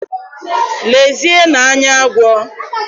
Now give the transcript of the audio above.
Lezienụ anya agwọ!